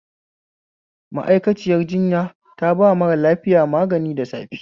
Ma; aikaciyar jinya taba mara lafiya magani da safe